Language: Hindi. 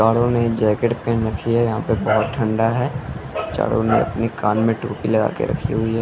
पाड़ो ने जैकेट पैन रखी है यहाँ पर बहुत ठंडा है चारों ने अपने कान में टोपी लगा के रखी हुई है।